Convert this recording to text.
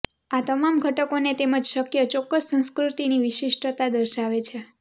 આ તમામ ઘટકોને તેમજ શક્ય ચોક્કસ સંસ્કૃતિની વિશિષ્ટતા દર્શાવે છે